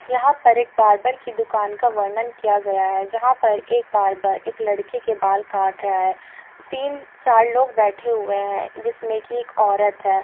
यहाँ पर एक बार्बर की दुकान का वर्णन किया गया है जहां पर एक बार्बर एक लडके के बाल काट रहा है। तीन-चार लोग बेठे हुए हैं जिसमे की एक औरत है।